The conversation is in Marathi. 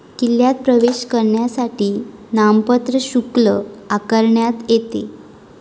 किल्ल्यात प्रवेश करण्यासाठी नाममात्र शुल्क आकारण्यात येते